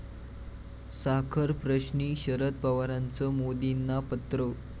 साखरप्रश्नी शरद पवारांचं मोदींना पत्र